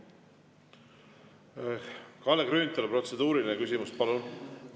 Kalle Grünthal, protseduuriline küsimus, palun!